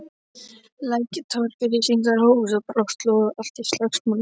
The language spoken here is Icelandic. Lækjartorg, ryskingar hófust og brátt logaði allt í slagsmálum.